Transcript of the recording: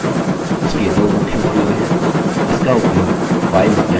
इसका उपयोग file या directory को फिर से नाम देने के लिए किया जाता है